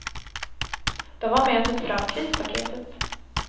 De var med och tog fram krispaketet.